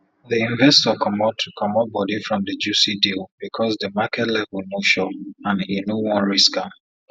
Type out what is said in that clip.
the investor comot comot body from the juicy deal because the market level no sure and e no wan risk am